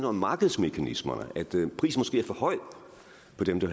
om markedsmekanismerne prisen